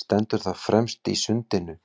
Stendur það fremst í Sundinu,